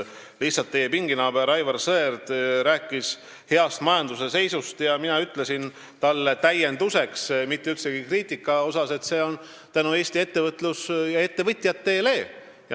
Lihtsalt teie pinginaaber Aivar Sõerd rääkis majanduse heast seisust ja mina ütlesin talle täienduseks, mitte üldsegi kriitikana, et see on nii tänu Eesti ettevõtlusele ja ettevõtjatele.